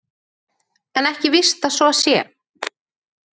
En ekki er víst að svo sé.